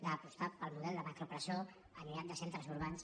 d’apostar pel model de macropresó allunyada de centres urbans